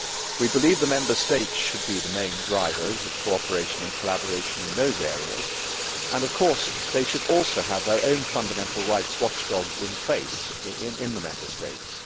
We believe the Member States should be the main drivers of cooperation and collaboration in those areas, and of course they should also have their own fundamental rights watchdogs in place in the Member States.